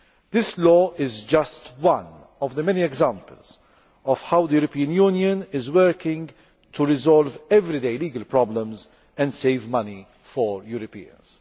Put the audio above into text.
This law is just one of the many examples of how the European Union is working to resolve everyday legal problems and save money for Europeans.